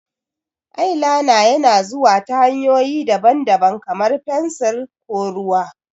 Eyeliner yana zuwa ta hanyoyi daban-daban, kamar fensir ko ruwa.